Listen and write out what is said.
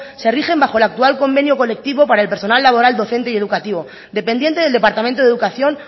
se rigen bajo el actual convenio colectivo para el personal laboral docente y educativo dependiente del departamento de educación